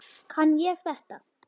Kann ég þetta?